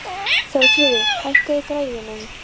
Þórfríður, hækkaðu í græjunum.